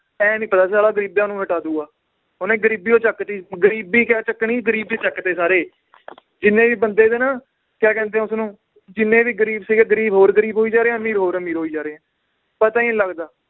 ਇਹ ਨੀ ਪਤਾ ਨੀ ਸੀ ਸਾਲਾ ਗਰੀਬਾਂ ਨੂੰ ਹਟਾ ਦਊਗਾ ਓਹਨੇ ਗਰੀਬੀਓ ਚੱਕਤੀ ਗਰੀਬੀ ਕਿਆ ਚੱਕਣੀ ਗਰੀਬ ਹੀ ਚਕਤੇ ਸਾਰੇ ਜਿੰਨੇ ਵੀ ਬੰਦੇ ਸੀ ਨਾ ਕਿਆ ਕਹਿੰਦੇ ਏ ਉਸਨੂੰ ਜਿੰਨੇ ਵੀ ਗਰੀਬ ਸੀਗੇ ਗਰੀਬ ਹੋਰ ਗਰੀਬ ਹੋਈ ਜਾ ਰਹੇ ਹੈ ਅਮੀਰ ਹੋਰ ਅਮੀਰ ਹੋਈ ਜਾ ਰਹੇ ਹੈ, ਪਤਾ ਹੀ ਨੀ ਲੱਗਦਾ